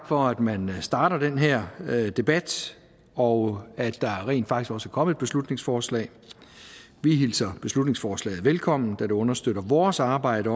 for at man starter den her debat og at der rent faktisk også er kommet et beslutningsforslag vi hilser beslutningsforslaget velkommen da det understøtter vores arbejde